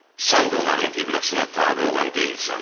Sən də onların qibləsinə tabe olan deyilsən.